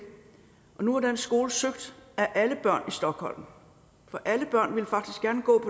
og nu er den skole søgt af alle børn i stockholm for alle børn ville faktisk gerne gå